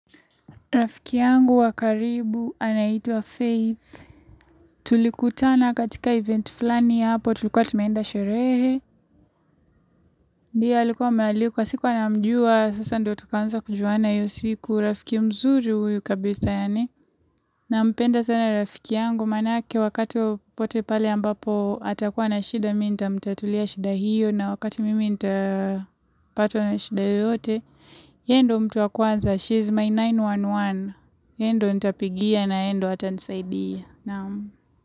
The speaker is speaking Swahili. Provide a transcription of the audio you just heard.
Rafiki yangu wa karibu, anaitwa Faith. Tulikutana katika event fulani hapo, tulikuwa tumeenda sherehe. Yeye alikuwa amealikwa sikuwa namjua sasa ndo tukaanza kujuana hiyo siku rafiki mzuri huyu kabisa yaani nampenda sana rafiki yangu manake wakati popote pale ambapo atakuwa na shida mimi nitamtatulia shida hiyo na wakati mimi nitapatwa na shida yoyote. Yeye ndo mtu wa kwanza, she is my mia tisa na kumi na moja. Yeye ndo nitapigia na yeye ndo atanisaidia.